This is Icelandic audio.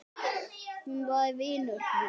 Hún var vinur minn.